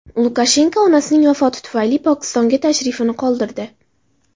Lukashenko onasining vafoti tufayli Pokistonga tashrifini qoldirdi.